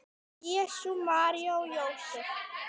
Jesús, María og Jósef!